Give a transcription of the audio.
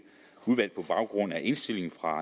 udvalgt på baggrund af indstilling fra